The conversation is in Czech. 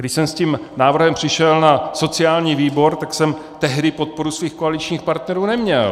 Když jsem s tím návrhem přišel na sociální výbor, tak jsem tehdy podporu svých koaličních partnerů neměl.